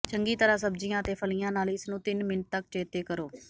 ਚੰਗੀ ਤਰ੍ਹਾਂ ਸਬਜੀਆਂ ਅਤੇ ਫਲੀਆਂ ਨਾਲ ਇਸ ਨੂੰ ਤਿੰਨ ਮਿੰਟ ਤਕ ਚੇਤੇ ਕਰੋ